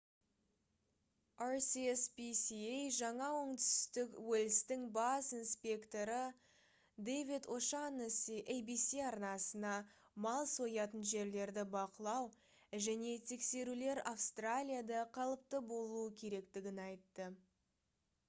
rspca жаңа оңтүстік уэльстің бас инспекторы дэвид о'шаннесси abc арнасына мал соятын жерлерді бақылау және тексерулер австралияда қалыпты болуы керектігін айтты